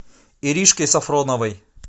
иришкой сафроновой